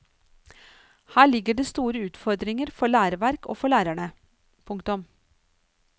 Her ligger det store utfordringer for læreverk og for lærere. punktum